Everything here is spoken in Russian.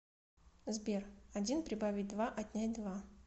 сбер один прибавить два отнять два